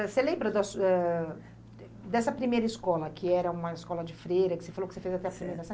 Você lembra da ãh dessa primeira escola, que era uma escola de freira, que você falou que você fez até a primeira